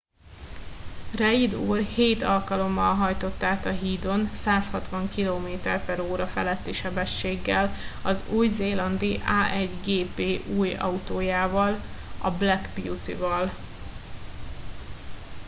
reid úr hét alkalommal hajtott át a hídon 160 km/h feletti sebességgel az új zélandi a1gp új autójával a black beauty val